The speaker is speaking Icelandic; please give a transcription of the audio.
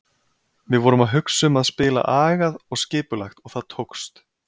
Við vorum að hugsa um að spila agað og skipulagt og það tókst.